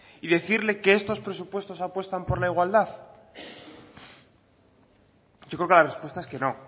y decirle que estos presupuestos apuestan por la igualdad yo creo que la respuesta es que no